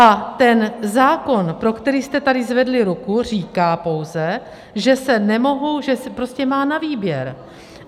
A ten zákon, pro který jste tady zvedli ruku, říká pouze, že se nemohou, že se prostě má na výběr.